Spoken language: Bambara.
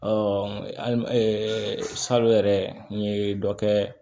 hali sa yɛrɛ n ye dɔ kɛ